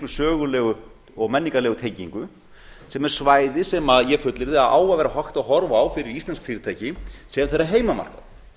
sögulegu og menningarlegu tengingu sem er svæði sem ég fullyrði að á að vera hægt að horfa á fyrir íslensk fyrirtæki sem þeirra heimamarkað